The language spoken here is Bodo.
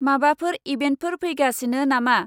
माबाफोर इभेन्फोटर फैगासिनो नामा?